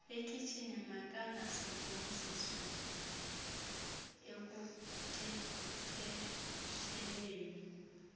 ekhitshini makangasetyenziswa ekunkcenkcesheleni